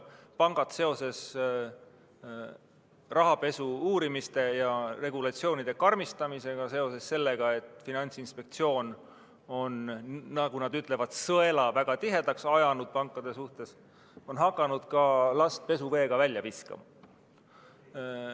Pangad on seoses rahapesu uurimise ja regulatsioonide karmistamisega, seoses sellega, et Finantsinspektsioon on, nagu nad ütlevad, sõela pankade suhtes väga tihedaks ajanud, hakanud ka last pesuveega välja viskama.